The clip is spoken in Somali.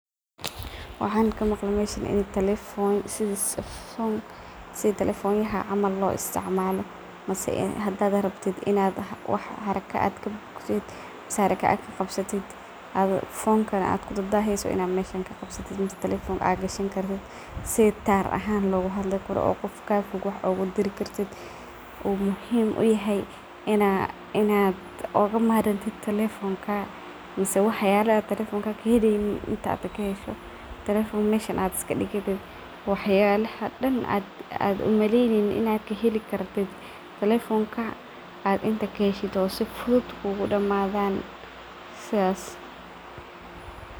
Waxan kamaqle meeshan in sii telefonyaha camal loisticmalo mise hadad rabtid in wax haraka ad qabsatid oo telefonkana ad kudaheysid in ad meshan kuqabsatid mise fonkana ad gashani kartid sidii tar ahaan loguhadli karo oo qof kafoog wax ogudiri kartid uu muhiim uyahay in ad ogamarmi kartid telefonka mise waxyalaha as telefonka ad kaheleynin oo inta kahesho telefonka meeshan ad iskadiganeysid waxyabo ad umaleynaynin in ad kaheli karto telefonkaga ad inta kahesho oo sifudud kugudamadan.